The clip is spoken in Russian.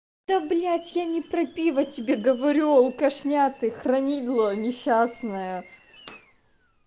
да блять я не про пиво тебе говорю алкашня ты хранила несчастное